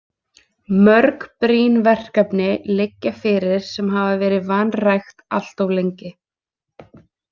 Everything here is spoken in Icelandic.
Mörg brýn verkefni liggja fyrir sem hafa verið vanrækt allt of lengi.